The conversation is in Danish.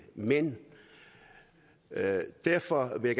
mænd og derfor vil